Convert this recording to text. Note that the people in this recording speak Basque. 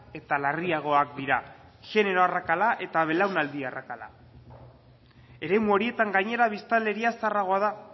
eta larriagoak dira jenero arrakala eta belaunaldi arrakala eremu horietan gainera biztanleria zaharragoa da